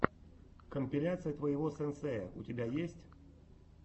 компиляция твоего сенсея у тебя есть